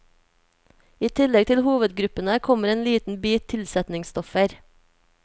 I tillegg til hovedgruppene kommer en liten bit tilsetningsstoffer.